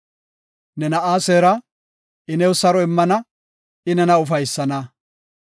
Ne na7aa seera; I new saro immana; I nena ufaysana.